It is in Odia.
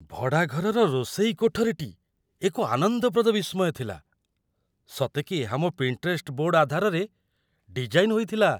ଭଡ଼ାଘରର ରୋଷେଇ କୋଠରୀଟି ଏକ ଆନନ୍ଦପ୍ରଦ ବିସ୍ମୟ ଥିଲା ସତେକି ଏହା ମୋ 'ପିଣ୍ଟରେଷ୍ଟ ବୋର୍ଡ' ଆଧାରରେ ଡିଜାଇନ୍‌ ହୋଇଥିଲା!